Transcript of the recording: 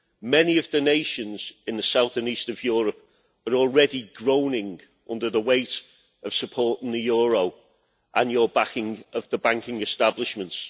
Many of the nations in the south and east of Europe are already groaning under the weight of supporting the euro and your backing of the banking establishments.